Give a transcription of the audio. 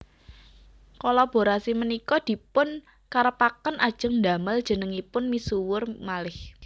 Kolaborasi punika dipun karepaken ajeng ndamel jenengipun misuwur malih